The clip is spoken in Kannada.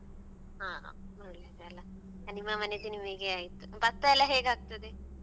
ಹಾ ಒಳ್ಳೇದಲ್ಲಾ ನಿಮ್ಮ ಮನೆದ್ದು ನಿಮಿಗೆ ಆಯ್ತು ಭತ್ತ ಎಲ್ಲ ಹೇಗಾಕ್ತದೆ.